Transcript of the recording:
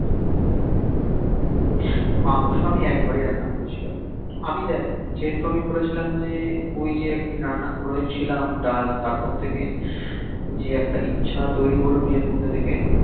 মাংস আমি একবারি রান্না করেছিলাম আমি দেখ যেহেতু আমি বলেছিলাম অইজে একদিন রান্না করেছিলাম ডাল তারপর থেকে যে একটা ইছহে তইরি হল নিজের মধহে থেকে